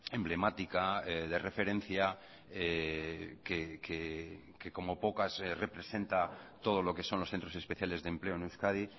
emblemática de referencia que como pocas representa todo lo que son los centros especiales de empleo en euskadi